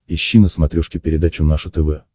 ищи на смотрешке передачу наше тв